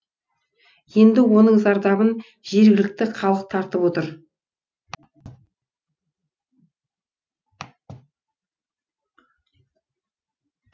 енді оның зардабын жергілікті халық тартып отыр